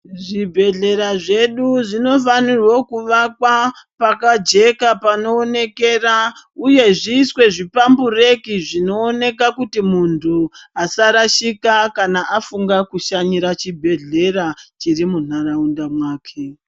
Zvibhedhleya zvedu zvinofanire kuvakwa pakajeka panooneka uye zviiswe zvipambureki zvinooneka kuti muntu asarashika kana afunga kushanyira chibhedhleya chiri muntaraunda mwake.